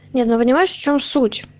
нет ну понимаешь в чем суть